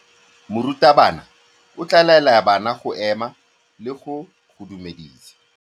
Morutabana o tla laela bana go ema le go go dumedisa.